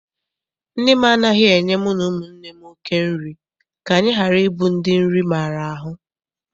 Nne m anaghị enye mu na ụmụnne m oké nri ka anyị ghara ịbụ ndị nri maara ahụ.